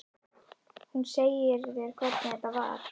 Hún segir þér hvernig þetta var.